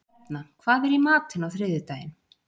Hrefna, hvað er í matinn á þriðjudaginn?